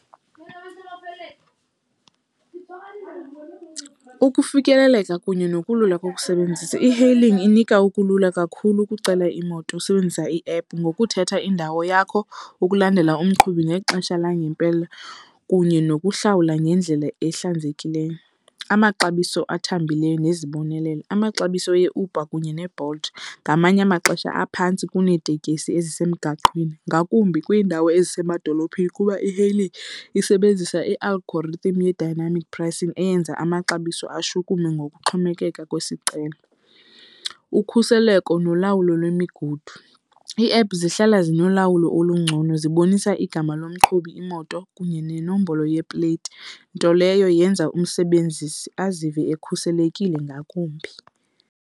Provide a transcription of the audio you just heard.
Ukufikeleleka kunye nokulula kokusebenzisa. E-hailing inika ukulula kakhulu ukucela imoto usebenzisa iephu ngokuthetha indawo yakho ukulandela umqhubi ngexesha langempela kunye nokuhlawula ngendlela ehlannzekileyo. Amaxabiso athambileyo nezibonelelo. Amaxabiso eUber kunye neBolt ngamanye amaxesha aphantsi kuneetekisi ezisemgaqweni ngakumbi kwiindawo ezisemadolophini kuba i-e-hailing isebenzisa i-algorithm ye-dynamic pricing eyenza amaxabiso ashukume ngokuxhomekeka kwesicelo. Ukhuseleko nolawulo kwemigudu. Ii-app zihlala zinolawulo olungcono zibonisa igama lomqhubi, imoto kunye nenombolo yepleyiti, nto leyo yenza umsebenzisi azive ekhuselekile ngakumbi.